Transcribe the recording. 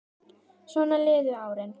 Svona liðu árin.